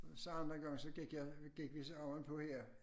Så anden gang så gik jeg gik vi så ovenpå her